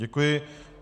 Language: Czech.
Děkuji.